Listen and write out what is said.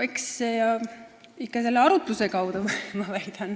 Eks ikka arutluse kaudu, ma väidan.